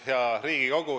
Hea Riigikogu!